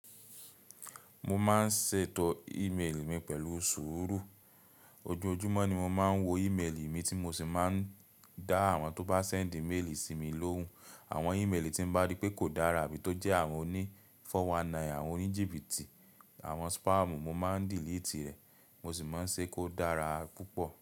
Mo máa ń ṣètò ímélì mi pẹ̀lú sùúrù. Ojojumọ́ ni mo máa ń wo ímélì mi tí mo sì máa ń dá àwọn tó bá sẹ́ǹdì méèlì sí mi lóhùn. Àwọn ímélì tín ba rí pé kò dára abí tó jẹ́ àwọn òní 419, àwọn oníjìbìtì, àwọn spam mo máa ń dìlitì rẹ̀. Mo sì máa ń ṣe kó dára púpọ̀.